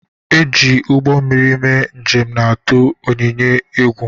E ji ugbọ mmiri mee njem na-atụ Onyinye egwu